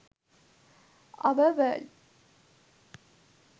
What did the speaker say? our world